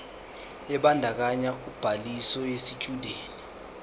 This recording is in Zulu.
ebandakanya ubhaliso yesitshudeni